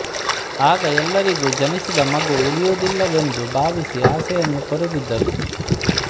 ಆಗ ಎಲ್ಲರಿಗೂ ಜನಿಸಿದ ಮಗು ಉಳಿಯುವುದಿಲ್ಲವೆಂದು ಭಾವಿಸಿ ಆಸೆಯನ್ನು ತೊರೆದಿದ್ದರು